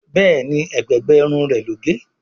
Béèni ègbé gbé Irun rẹ ló gé.